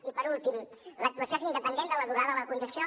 i per últim l’actuació és independent de la durada de la concessió